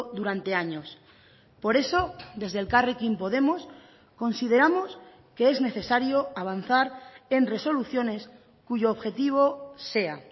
durante años por eso desde elkarrekin podemos consideramos que es necesario avanzar en resoluciones cuyo objetivo sea